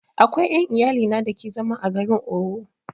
Akwai ƴan iyalina da ke zama a garin Owo